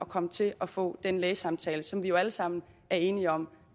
komme til at få den lægesamtale som vi jo alle sammen er enige om